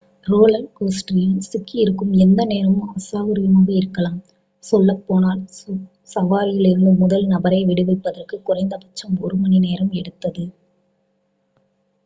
roller கோஸ்டரில் சிக்கியிருக்கும் எந்நேரமும் அசௌகரியமாக இருக்கலாம் சொல்லப்போனால் சவாரியில் இருந்து முதல் நபரை விடுவிப்பதற்கு குறைந்தபட்சம் ஒரு மணி நேரம் எடுத்தது